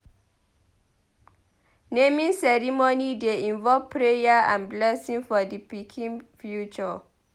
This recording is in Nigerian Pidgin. Naming ceremony dey involve prayer and blessing for di pikin future.